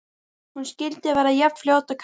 Hún skyldi verða jafn fljót og Kata!